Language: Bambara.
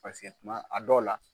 Paseke tuma a dɔw la